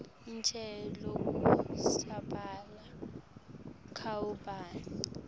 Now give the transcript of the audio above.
ichaze lokusabalala kwabhubhane